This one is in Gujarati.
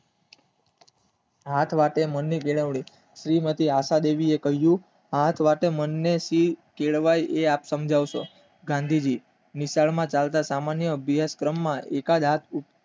હા પણ આપણે આપણા મન નું હું માંથી આશા દેવી એ કહ્યું હા આપણે આપણા મન કેળવાય એ તમે સમજા છો ગાંધીજી